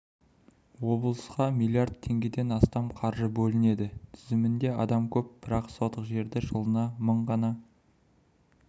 облысқа миллиард теңгеден астам қаржы бөлінеді тізімде адам көп бірақ сотық жерді жылына мың ғана